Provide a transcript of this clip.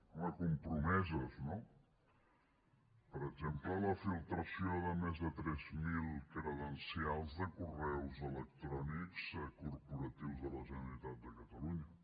home compromeses no per exemple la filtració de més de tres mil credencials de correus electrònics corporatius de la generalitat de catalunya